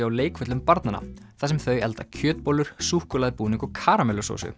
á leikvöllum barnanna þar sem þau elda kjötbollur súkkulaðibúðing og karamellusósu